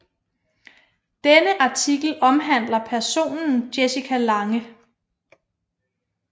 Denne artikel omhandler personen Jessica Lange